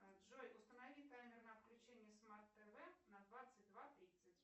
джой установи таймер на отключение смарт тв на двадцать два тридцать